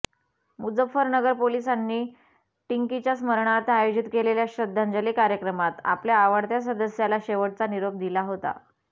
मुझ्झफ्फरनगर पोलिसांनी टिंकीच्या स्मरणार्थ आयोजित केलेल्या श्रध्दांजली कार्यक्रमात आपल्या आवडत्या सदस्याला शेवटचा निरोप दिला होता